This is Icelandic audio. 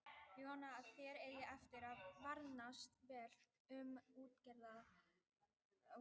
Ég vona að þér eigi eftir að farnast vel með útgerðarfyrirtækið í Englandi.